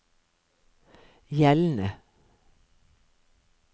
gjeldende